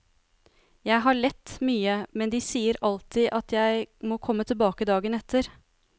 Jeg har lett mye, men de sier alltid at jeg må komme tilbake dagen etter.